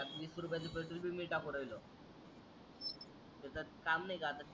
वीस रुपयाच पेट्रोल बी मी टाकू राहिलो त्याच काम नाही आता